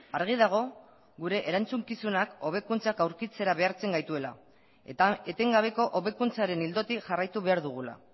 argi dago gure erantzukizunak hobekuntzak aurkitzera behartzen gaituela eta etengabeko hobekuntzaren ildotik jarraitu behar dugula